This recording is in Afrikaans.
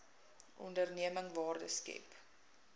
onderneming waarde skep